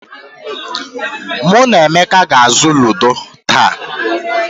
Mụ na Emeka ga-azụ ludo taa.